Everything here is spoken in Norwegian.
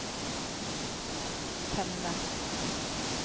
temme